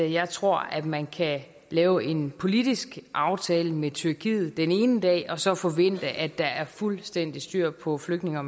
jeg tror at man kan lave en politisk aftale med tyrkiet den ene dag og så forvente at der er fuldstændig styr på flygtninge og